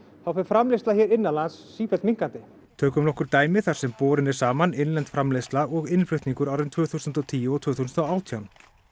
þá fer framleiðsla innanlands sífellt minnkandi tökum nokkur dæmi þar sem borin er saman innlend framleiðsla og innflutningur árin tvö þúsund og tíu og tvö þúsund og átján